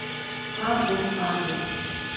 Far vel, far vel.